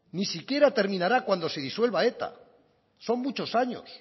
ni siquiera terminará cuando se disuelva eta son muchos años